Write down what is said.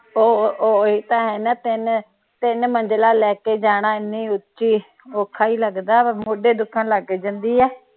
ਉਹ ਓਹੀ ਭੈਣ ਤਿੰਨ ਤਿੰਨ ਮੰਜਿਲਾ ਲੈ ਕੇ ਜਾਣਾ ਏਨੀ ਉੱਚੀ ਔਖਾ ਈ ਲੱਗਦਾ ਵਾ ਮੋਢੇ ਦੁਖਣ ਲੱਗ ਜਾਂਦੇ ਆ